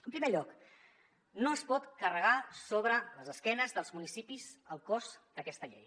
en primer lloc no es pot carregar sobre les esquenes dels municipis el cost d’aquesta llei